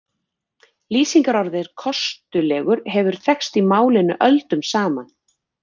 Lýsingarorðið kostulegur hefur þekkst í málinu öldum saman.